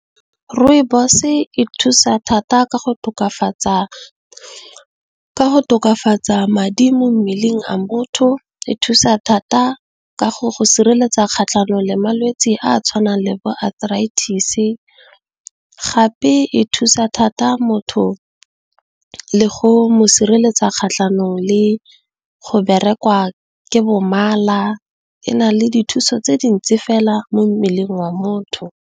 Rooibos e thusa thata ka go tokafatsa madi mo mmeleng a motho e thusa thata ka go go sireletsa kgatlhanong le malwetse a a tshwanang le bo arthritis. Gape e thusa thata motho, le go mo sireletsa kgatlhanong le go berekiwa ke mala e na le dithuso tse dintsi fela mo mmeleng wa motho.